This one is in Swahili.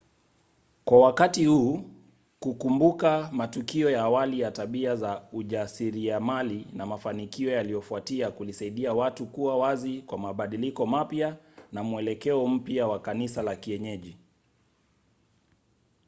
kwa wakati huu kukumbuka matukio ya awali ya tabia za ujasiriamali na mafanikio yaliyofuatia kulisaidia watu kuwa wazi kwa mabadiliko mapya na mwelekeo mpya wa kanisa la kienyeji